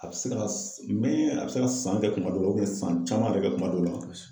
A bɛ se ka mɛ a bɛ se ka san kɛ kuma dɔw la san caman bɛ kɛ kuma dɔw la.